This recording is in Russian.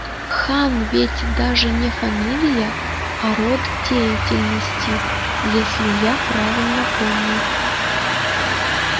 хан ведь даже не фамилия а род деятельности если я правильно помню